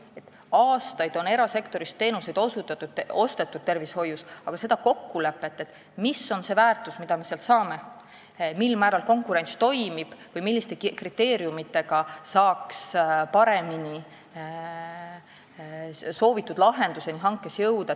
Tervishoius on aastaid erasektorist teenuseid ostetud, aga tegelikult ei ole seda kokkulepet, ühist arusaama, mis on see väärtus, mida me sealt saame, mil määral konkurents toimib või milliste kriteeriumitega saaks paremini hanke käigus soovitud lahenduseni jõuda.